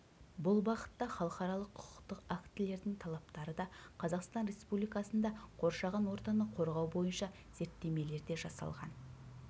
бұл бағытта халықаралық құқықтық актілердің талаптары да қазақстан республикасында қоршаған ортаны қорғау бойынша зерттемелер де жасалған